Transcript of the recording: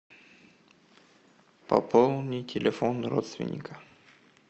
пополни телефон родственника